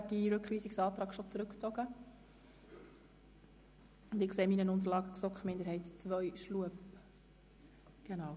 Boss hat seinen Rückweisungsantrag bereits vorher zurückgezogen, und in meinen Unterlagen ist Grossrat Schlup als Sprecher der GSoK-Minderheit II aufgeführt.